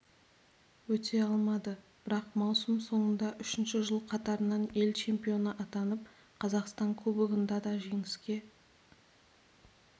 өте алмады бірақ маусым соңында үшінші жыл қатарынан ел чемпионы атанып қазақстан кубогында да жеңіске